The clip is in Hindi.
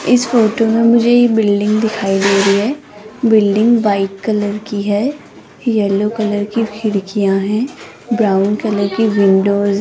इस फोटो में मुझे ये बिल्डिंग दिखाई दे रही है बिल्डिंग व्हाइट कलर की है येलो कलर की खिड़कियां हैं ब्राउन कलर की विंडोज --